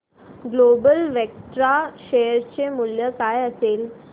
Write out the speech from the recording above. global Vectra share चे मूल्य काय असेल